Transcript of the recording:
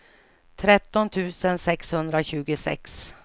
tretton tusen sexhundratjugosex